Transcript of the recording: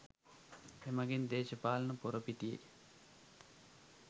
එමගින් දේශපාලන පොරපිටියේ